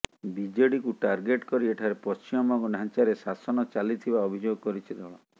ବିଜେଡିକୁ ଟାର୍ଗେଟ କରି ଏଠାରେ ପଶ୍ଚିମବଙ୍ଗ ଢାଂଚାରେ ଶାସନ ଚାଲିଥିବା ଅଭିଯୋଗ କରିଛି ଦଳ